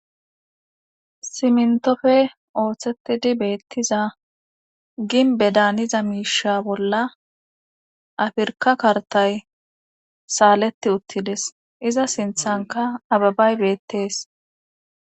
simntofe ooththettidi beettiza ginbe daaniza miisha bolla afirka kartay saaleti uttides iza sinthanka ababay beettees